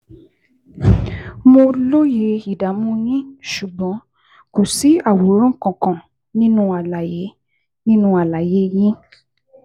Mo lóye ìdààmú yín, ṣùgbọ́n kò sí àwòrán kankan nínú àlàyé nínú àlàyé yín